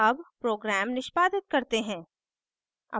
अब program निष्पादित करते हैं